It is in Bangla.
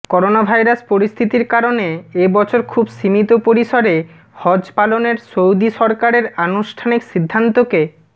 করোনাভাইরাস পরিস্থিতির কারণে এ বছর খুব সীমিত পরিসরে হজ পালনের সৌদি সরকারের আনুষ্ঠানিক সিদ্ধান্তকে